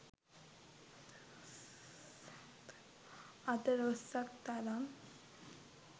අතළොස්සක් තරම්.